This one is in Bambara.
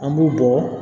An b'u bɔ